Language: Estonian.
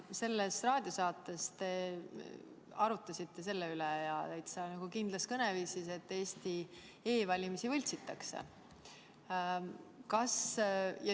Selles raadiosaates te arutasite selle üle – ja täitsa kindlas kõneviisis –, et Eesti e-valimisi võltsitakse.